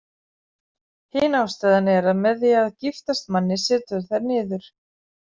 Hin ástæðan er að með því að giftast manni setur þær niður.